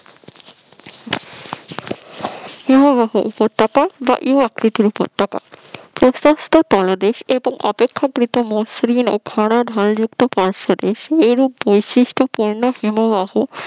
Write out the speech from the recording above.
হিমবাহ উপত্যকা বা ইউ আকৃতি উপত্যকা পাদদেশ এবং অপেক্ষাকৃত মসৃণ খাড়া ঢাল যুক্ত পার্শ্বদেশে এরূপ বৈশিষ্ট্য পূর্ণ হিমবাহ